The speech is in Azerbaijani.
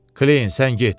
Kleyin, sən get.